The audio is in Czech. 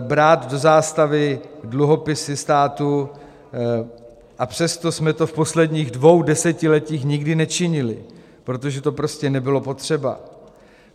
brát do zástavy dluhopisy státu, a přesto jsme to v posledních dvou desetiletích nikdy nečinili, protože to prostě nebylo potřeba.